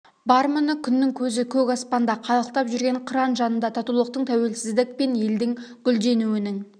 бар міне күннің көзі көк аспанда қалықтап жүрген қыран жанында татулықтың тәуелсіздік пен елдің гүлденуінің